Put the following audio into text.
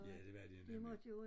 Ja det var de nemlig